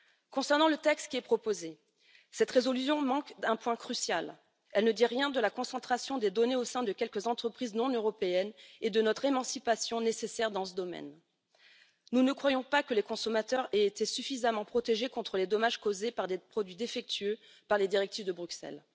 Concernant le texte qui est proposé, cette résolution manque un point crucial elle ne dit rien de la concentration des données au sein de quelques entreprises non européennes et de notre émancipation nécessaire dans ce domaine. Nous ne croyons pas que les consommateurs aient été suffisamment protégés contre les dommages causés par des produits défectueux par les directives de Bruxelles.